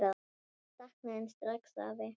Ég sakna þín strax, afi.